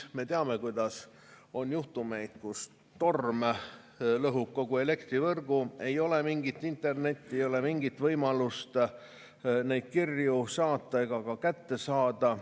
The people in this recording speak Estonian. Me teame, et on juhtumeid, kus torm lõhub kogu elektrivõrgu, ei ole mingit internetti, ei ole mingit võimalust neid kirju saata ega ka kätte saada.